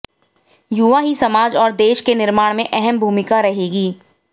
युवा ही समाज और देश के निर्माण में अहम भूमिका रहेगी